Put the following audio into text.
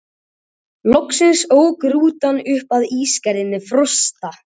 Hvernig var því tekið?